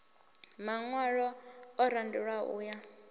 maṅwalo o randelwaho u ya